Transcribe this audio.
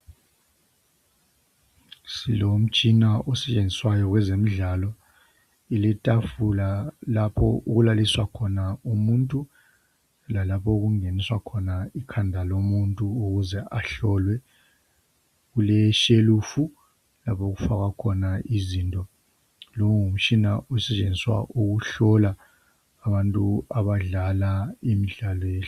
Silomtshina osebenziswayo wezemdlalo, silethafula lapho okulaliswa khona umuntu lalapho okungeniswa khona ikhanda lomuntu ukuze ahlolwe. Kule. shelufu lapho okufakwa khona izinto. Lomtshina usetshenziswa ukuhlola abantu abadlala imdlalo leyi.